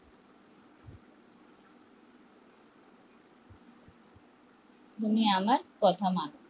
তুমি আমার কথা মান